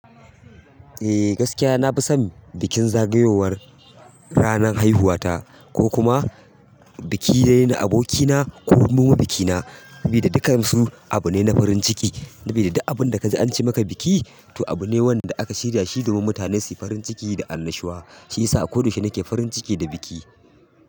Eh gaskiya na fi son bikin zagayowar ranan haihuwa ta ko kuma biki na abokina kokuma biki na Bida dukkan su abu ne na farin ciki. Sabida duk abun da ka ji an ce maka biki to abu ne wanda aka shirya shi domin mutane su yi farin ciki da annashuwa. Shiyasa a ko da yaushe nake farin ciki da biki.